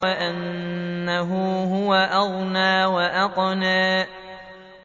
وَأَنَّهُ هُوَ أَغْنَىٰ وَأَقْنَىٰ